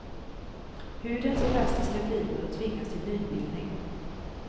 Hudens elastiska fibrer tvingas till nybildning.